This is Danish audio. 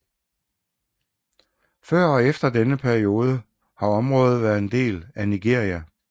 Før og efter denne periode har området været en del af Nigeria